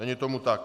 Není tomu tak.